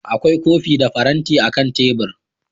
Akwai kofi da faranti akan tebur